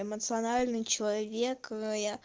эмоциональный человек я